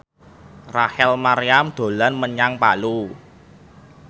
Rachel Maryam dolan menyang Palu